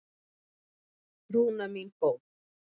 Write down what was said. Rúna mín góð.